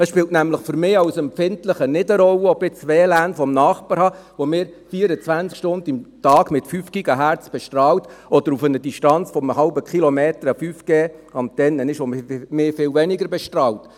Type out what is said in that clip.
Es spielt nämlich für mich als Empfindlicher nicht eine Rolle, ob ich jetzt WLAN vom Nachbar habe, das mich 24 Stunden am Tag mit 5 GHz bestrahlt, oder ob auf einer Distanz von einem halben Kilometer eine 5G-Antenne ist, die mich viel weniger bestrahlt.